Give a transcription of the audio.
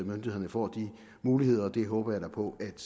myndighederne får de muligheder og det håber jeg da på at